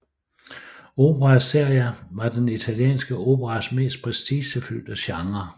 Opera seria var den italienske operas mest prestigefyldte genre